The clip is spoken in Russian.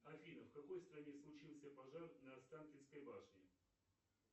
афина в какой стране случился пожар на останкинской башне